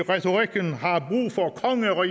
nå